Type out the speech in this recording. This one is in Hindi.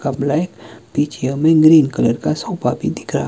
का ब्लैक पीछे हमें ग्रीन कलर का सोफा भी दिख रहा--